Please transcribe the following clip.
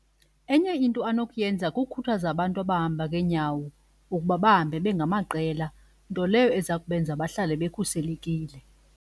Enye into anokuyenza kukukhuthaza abantu abahamba ngeenyawo ukuba bahambe bengamaqela, nto leyo eza kubenza bahlale bekhuselekile.